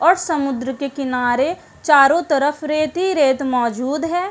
और समुद्र के किनारे चारों तरफ रेत ही रेत मौजूद है।